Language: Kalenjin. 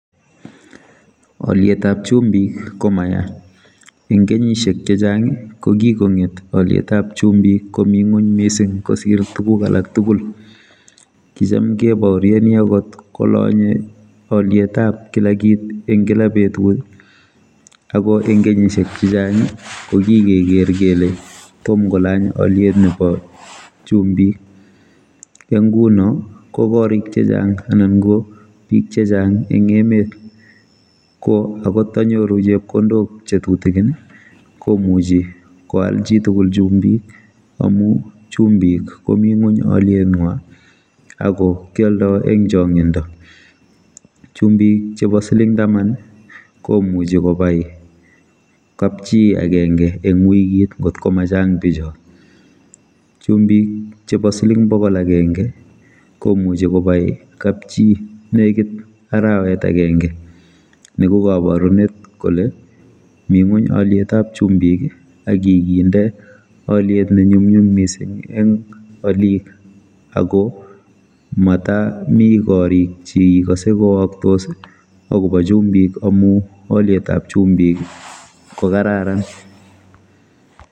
olietab chumbik komaya eng kenyisiek chechang kokikonget olietab chumbik komii ngony mising kosir tuguk alak tugul kicham kebaorioni angot kolonye olietab kila kiit eng kila betut akoengkenyisiek chehchang kokikegeeer kele tom kolany oliet nebo chumbik. Eng nguno kokorik chechang anan ko biik chechang eng emet koagot tanyoru chepkondok chetutigin komuchi koal chitugul chumbik amu chumbik komi ngony olietnywa ako kioldoi eng chongindo chumbik chebo siling taman komuchi kobai kapchi agenge eng wikit ngotko machang bichotok chumbik chebo siling bokol agenge komuchi kobai kapchi negit arawet agenge ni kokaborunet kole mi ngony olietab chumbik akikinde oliet nenyumnyum mising eng olik ako matami korik cheikase kowaktos akobo chumbik amu olietab chumbik kokararan